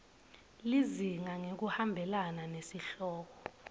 lizinga ngekuhambelana nesihloko